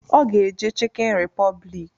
Ọ ga-eje chịkịn repọblik